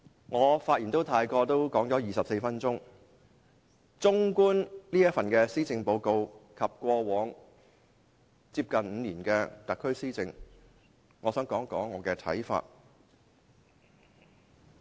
我發言至今已用了24分鐘，綜觀這份施政報告，以及特區政府過往近5年的施政，我想談談我的看法。